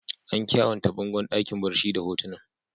An kyawanta bangon dakin barci da hotunan.